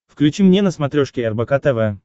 включи мне на смотрешке рбк тв